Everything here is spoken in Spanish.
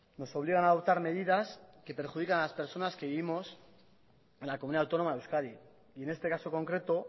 nos obligan adoptar medidas que perjudican a las personas que vivimos en la comunidad autónoma de euskadi y en este caso concreto